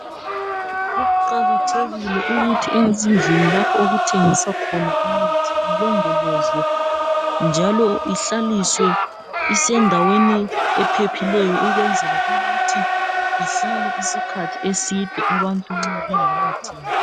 Kuqakathekile ukuthi ezindlini lapho okuthengiswa khona imithi ilondolozwe njalo ihlaliswe isendaweni ephephileyo ukwenzela ukuthi ihlale isikhathi eside abantu nxa bengakayithengi .